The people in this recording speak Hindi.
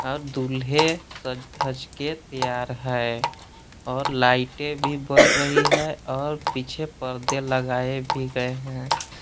और दूल्हे सज धज के तैयार है और लाइटें भी बर रही है और पीछे परदे लगाए भी गए हैं।